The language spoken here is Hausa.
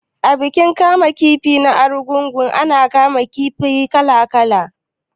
A bikin kama kifi ta Argungu ana kama kifaye kala kala